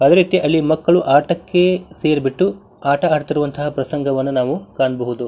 ಅದೇರೀತಿ ಅಲ್ಲಿ ಮಕ್ಕಳು ಆಟಕ್ಕೆ ಸೇರಿಬಿಟ್ಟು ಆಟ ಆಡುತಿರುವಂತಹ ಪ್ರಸಂಗವನ್ನ ನಾವು ಕಾಣಬಹುದು .